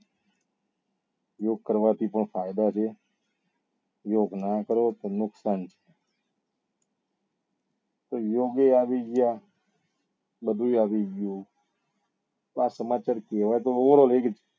યોગ કરવા થી પણ ફાયદા છે યોગ નાં કરો તો નુકસાન છે તો યોગ એ આવી ગયા બધું એ આવી ગયું તો આ સમાચાર કેવા તા